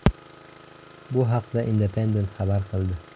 Bu haqda Independent xabar qildi .